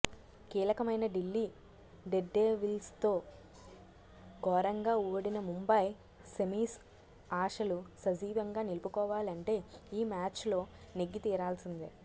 కీలకమైన ఢిల్లీ డేర్డెవిల్స్తో ఘోరంగా ఓడిన ముంబాయి సెమీస్ ఆశలు సజీవంగా నిలుపుకోవాలంటే ఈ మ్యాచ్లో నెగ్గి తీరాల్సిందే